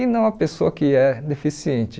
e não a pessoa que é deficiente.